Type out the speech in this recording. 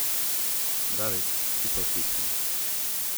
David: 'Ti pa utihni.